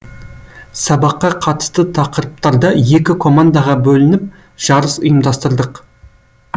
сабаққа қатысты тақырыптарда екі командаға бөлініп жарыс ұйымдастырдық